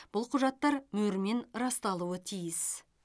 бұл құжаттар мөрмен расталуы тиіс